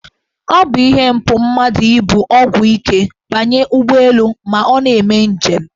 Ọ bụ ihe mpụ mmadụ ibu ọgwụ ike banye ụgbọelu ma ọ na-eme njem.